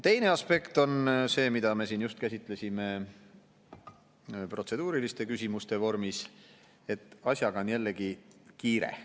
Teine aspekt on see, mida me just käsitlesime protseduuriliste küsimuste vormis, et asjaga on jällegi kiire.